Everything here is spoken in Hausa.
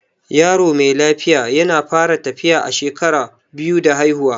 Yaro mai lafiya yana fara tafiya a shekara biyu da haifuwa